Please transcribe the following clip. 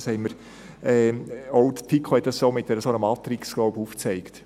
Auch die FiKo hat dies, glaube ich, so mit einer Matrix aufgezeigt.